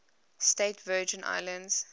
states virgin islands